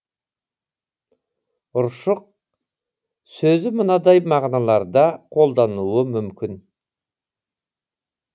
ұршық сөзі мынадай мағыналарда қолданылуы мүмкін